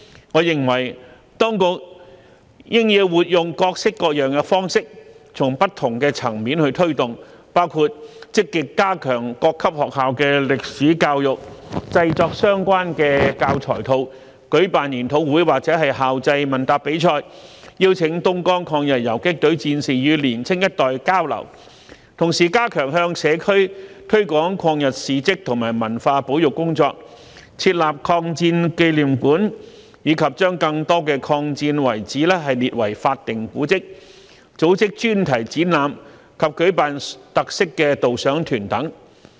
我認為當局應活用各式各樣的方式，從不同的層面推動，包括積極加強各級學校的歷史教育、製作相關教材套、舉辦研討會或校際問答比賽，邀請東江抗日游擊隊戰士與年青一代交流，同時加強向社區推廣抗日事蹟和文物保育工作、設立抗戰紀念館，以及將更多抗戰遺址列為法定古蹟、組織專題展覽及舉辦特色導賞團等。